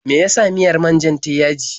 Me ya sa miyar man-jar ta yi yaji.